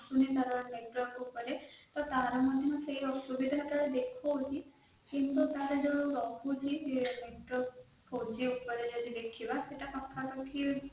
ତାର ମଧ୍ୟ ସୁବିଧା ଗୁରା ପ୍ରାୟ ଦେଖାଉଣି କିନ୍ତୁ ତାର ଜୋଉ ରହୁଛି ଫୋର g ଉପରେ ଜୋଉ ଦେଖିବା ସେଟା ଦେଖିବା ସେଇଟା ପାଖାପାଖି